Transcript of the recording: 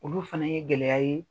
Olu fana ye gɛlɛya ye.